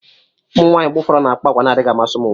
ụmụ nwanyị mgbe ụfọdụ na-akpa àgwà na-adịghị amasị ụmụ nwoke